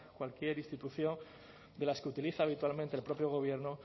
cualquier institución de las que utiliza habitualmente el propio gobierno